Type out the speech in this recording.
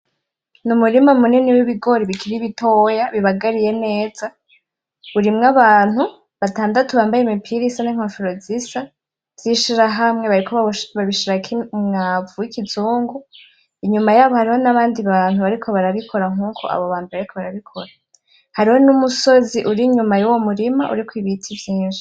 N'umurima munini w'ibigori bikiri bitoya bibagariye neza urimwo abantu batandatu bambaye imipira isa n'inkofero zisa z'ishirahamwe bariko babishirako umwamvu wi'kizungu, inyuma yabo hari nabandi bantu bariko barabikora nkuko abo bambere bariko barabikora , hari n’umusozi ur'inyuma yuwo murima uriko ibiti vyinshi.